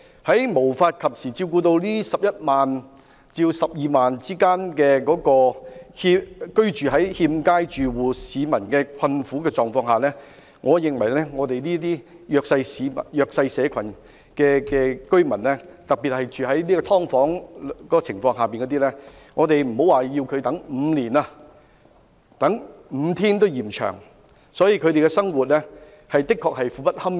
在無法及時照顧這11萬至12萬名居住在欠佳住所的困苦市民的情況下，我認為對於一些弱勢社群居民，特別是居住在"劏房"的居民來說，莫說要他們等待5年，即使等待5天也嫌長，因為他們的生活確實相當苦不堪言。